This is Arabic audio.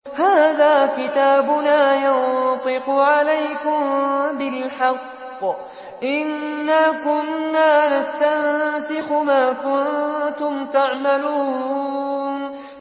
هَٰذَا كِتَابُنَا يَنطِقُ عَلَيْكُم بِالْحَقِّ ۚ إِنَّا كُنَّا نَسْتَنسِخُ مَا كُنتُمْ تَعْمَلُونَ